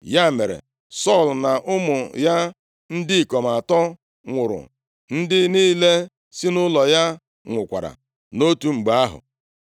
Ya mere, Sọl na ụmụ ya ndị ikom atọ nwụrụ, ndị niile si nʼụlọ ya nwụkwara nʼotu mgbe ahụ.